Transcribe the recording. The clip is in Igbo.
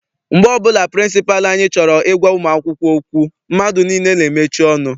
Mgbe ọbụla pịrịnsịpalụ anyị chọrọ I gwa ụmụ akwụkwọ okwu, mmadụ niile n'emechi ọnụ.